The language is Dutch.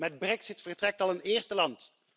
Met brexit vertrekt al een eerste land.